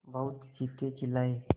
बहुत चीखेचिल्लाये